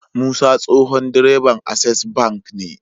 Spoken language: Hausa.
Musa tsohon direban access bank ne